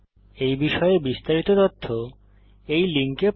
এই বিষয়ে বিস্তারিত তথ্য এই লিঙ্কে প্রাপ্তিসাধ্য